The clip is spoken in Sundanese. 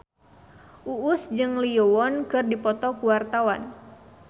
Uus jeung Lee Yo Won keur dipoto ku wartawan